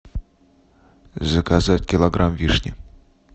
заказать килограмм вишни